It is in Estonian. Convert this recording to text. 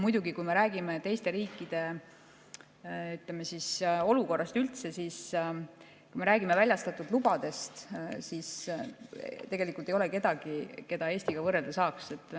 Muidugi, kui me räägime teiste riikide, ütleme, olukorrast üldse, siis kui me räägime väljastatud lubadest, ei ole tegelikult kedagi, keda Eestiga võrrelda saaks.